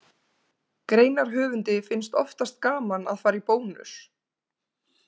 Greinarhöfundi finnst oftast gaman að fara í Bónus.